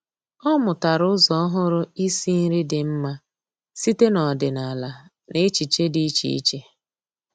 Ọ́ mụ́tàrà ụ́zọ́ ọ́hụ́rụ́ ísí nrí dị́ mma site n’ọ́dị́nála na echiche dị́ iche iche.